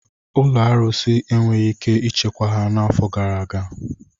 Ụlọ arụsị enweghị ike ichekwa ha n'afọ gara aga.